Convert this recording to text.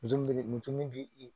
Mun b'i